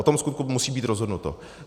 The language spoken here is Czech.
O tom vskutku musí být rozhodnuto.